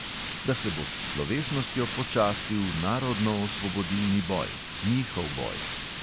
Da se bo s slovesnostjo počastil narodnoosvobodilni boj, njihov boj.